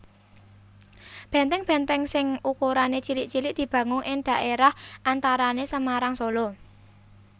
Benteng benteng sing ukurané cilik cilik dibangun ing dhaérah antarané Semarang Solo